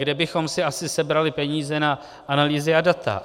Kde bychom si asi sebrali peníze na analýzy a data?